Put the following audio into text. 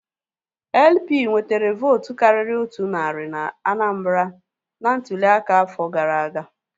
LP nwetere vootu karịrị otu narị na Anambra na ntụli aka afọ gara aga